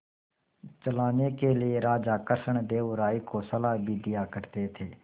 चलाने के लिए राजा कृष्णदेव राय को सलाह भी दिया करते थे